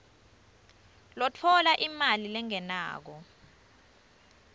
lotfola imali lengenako